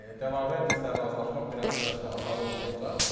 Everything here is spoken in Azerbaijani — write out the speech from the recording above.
Yəni De Laurentislə razılaşmaq biraz heç də asan olmayacaq.